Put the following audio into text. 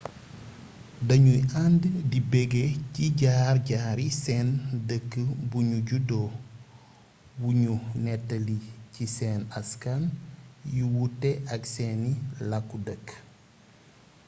dañuy ànd di beggee ci jaar-jaari seen dëkk buñu juddoo yuñu néttali ci seen aksan yu wuute ak seeni kàlu dëkk